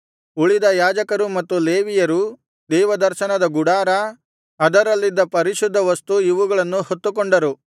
ಉಳಿದ ಯಾಜಕರೂ ಮತ್ತು ಲೇವಿಯರೂ ದೇವದರ್ಶನದ ಗುಡಾರ ಅದರಲ್ಲಿದ್ದ ಪರಿಶುದ್ಧವಸ್ತು ಇವುಗಳನ್ನು ಹೊತ್ತುಕೊಂಡರು